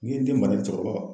N'i ye den mara cɛkɔrɔba